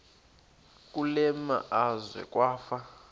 kule meazwe kwafa